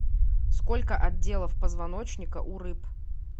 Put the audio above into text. сколько отделов позвоночника у рыб